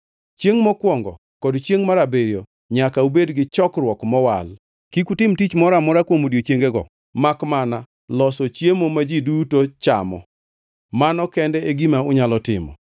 Chiengʼ mokwongo kod chiengʼ mar abiriyo nyaka ubed gi chokruok mowal. Kik utim tich moro amora kuom odiechiengego makmana loso chiemo ma ji duto chamo; mano kende e gima unyalo timo.